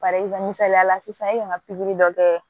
Bari misaliya la sisan i kan ka pikiri dɔ kɛ